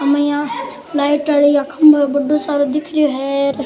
हमें यहाँ लाइट वाली खम्भों बढ़ो सारो दिख रियो है र।